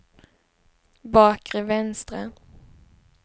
bakre vänstra